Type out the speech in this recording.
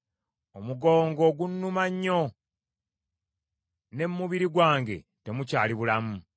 Omugongo gunnuma nnyo, ne mu mubiri gwange temukyali bulamu.